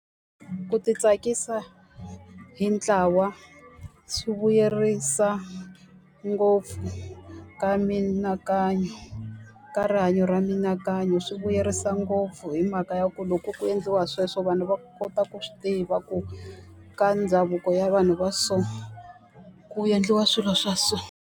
Ku ti tsakisa hi ntlawa swi vuyerisa ngopfu ka mianakanyo, ka rihanyo ra mianakanyo. Swi vuyerisa ngopfu hi mhaka ya ku loko ku endliwa sweswo vanhu va kota ku swi tiva ku ka ndhavuko ya vanhu va so, ku endliwa swilo swa so.